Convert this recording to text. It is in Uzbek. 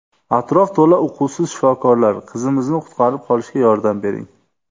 Atrof to‘la uquvsiz shifokorlar... Qizimizni qutqarib qolishga yordam bering!